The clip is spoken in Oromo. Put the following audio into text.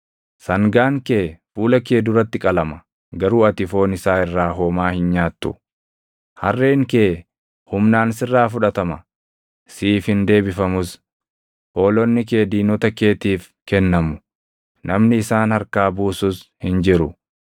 Sangaan kee fuula kee duratti qalama; garuu ati foon isaa irraa homaa hin nyaattu. Harreen kee humnaan sirraa fudhatama; siif hin deebifamus. Hoolonni kee diinota keetiif kennamu; namni isaan harkaa buusus hin jiru.